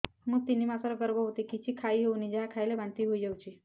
ମୁଁ ତିନି ମାସର ଗର୍ଭବତୀ କିଛି ଖାଇ ହେଉନି ଯାହା ଖାଇଲେ ବାନ୍ତି ହୋଇଯାଉଛି